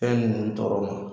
Fɛn ninnu tɔɔrɔ ma